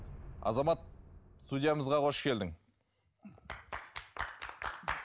азамат студиямызға қош келдің